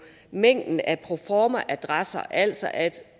mængden af proformaadresser altså at